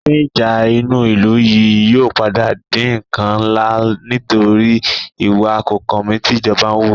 Èéfín ìjà inú ìlú yìí yóò padà di ǹkan ńlá nítorí ìwà kòkànmí tí ìjọba ń wù